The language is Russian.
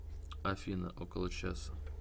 афина около часа